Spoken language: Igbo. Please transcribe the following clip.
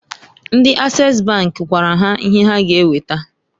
Ndi Ases bank gwara ha ihe ha ga eweta.